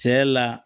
Cɛ la